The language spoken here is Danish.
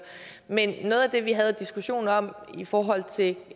men noget af det vi havde diskussionen om i forhold til